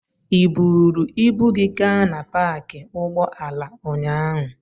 Ị buuru ibu gị gaa na paakị ụgbọala ụnyaahụ?